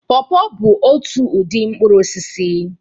Paw paw bụ otu ụdị mkpụrụ osisi